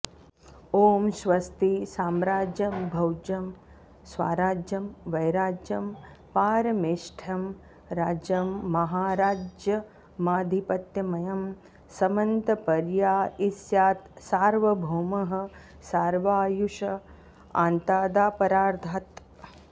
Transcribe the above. ॐ स्वस्ति साम्राज्यं भौज्यं स्वाराज्यं वैराज्यं पारमेष्ठ्यं राज्यं माहाराज्यमाधिपत्यमयं समंतपर्या ईस्यात् सार्वभौमः सार्वायुष आंतादापरार्धात्